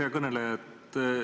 Hea kõneleja!